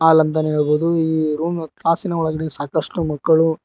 ಲನ್ ಅಂತಾನೆ ಹೇಳ್ಬಹುದು ಈ ರೂಮ್ ಕ್ಲಾಸಿನ ಒಳಗಡೆ ಸಾಕಷ್ಟು ಮಕ್ಕಳು--